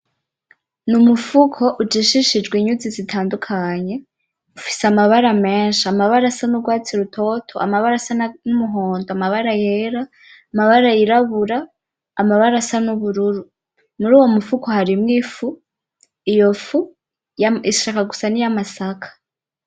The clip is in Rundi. N’umufuko ujishishijwe inyuzi zitandukanye ufise amabara menshi amabara asa n'ugwatsi rutoto amabara asa n'umuhondo amabara yera amabara y'irabura amabara asa n'ubururu muri uwo mufuko harimwo ifu iyo fu ishaka gusa n'iyamasaka.